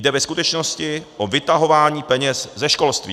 Jde ve skutečnosti o vytahování peněz ze školství.